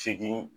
Segin